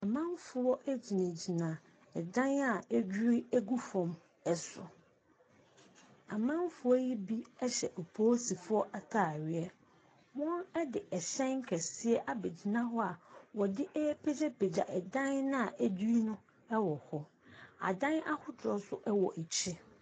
Amamfoɔ gyinagyina dan a adwiri agu fam so. Amamfoɔ yi bi hyɛ polisifoɔ ataare. Wɔde hyɛn kɛseɛ abɛgyina hɔ a wɔde ɛrepagyapgya dan no a adwiri no wɔ hɔ. Adan ahodoɔ nso wɔ akyi.